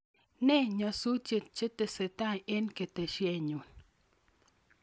Ne nyasutik chetesetai en ketesienyun